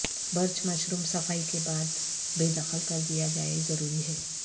birch mushroom صفائی کے بعد بے دخل کر دیا جائے ضروری ہے